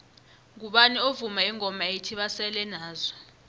ngubani ovuma ingoma ethi basele nazo